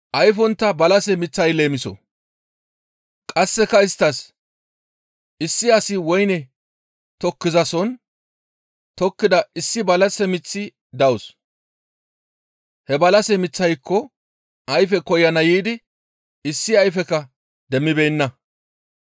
Qasseka isttas, «Issi asi woyne tokkizasohon tokettida issi balase miththi dawus; he balase miththayko ayfe koyana yiidi issi ayfekka demmibeenna.